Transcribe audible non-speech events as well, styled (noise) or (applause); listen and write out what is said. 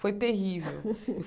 Foi terrível. (laughs)